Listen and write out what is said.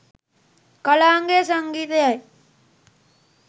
කලාංගය සංගීතයයි.